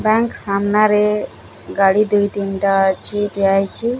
Bank ସାମ୍ନାରେ ଗାଡ଼ି ଦୁଇ ତିନିଟା ଅଛି। ଠିଆହେଇଚି।